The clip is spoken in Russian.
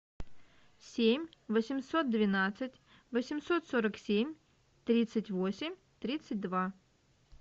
семь восемьсот двенадцать восемьсот сорок семь тридцать восемь тридцать два